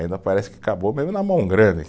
Ainda parece que acabou mesmo na mão grande.